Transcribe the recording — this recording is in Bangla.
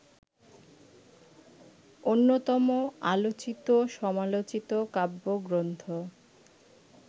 অন্যতম আলোচিত-সমালোচিত কাব্যগ্রন্থ